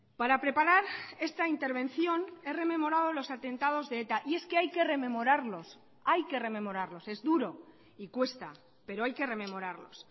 para preparar esta intervención he rememorado los atentados de eta y es que hay que rememorarlos hay que rememorarlos es duro y cuesta pero hay que rememorarlos